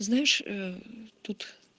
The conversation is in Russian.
знаешь ээ тут